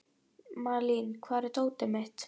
Malín, hvar er dótið mitt?